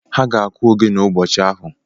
A ga-akụ ogene ụbọchị ahụ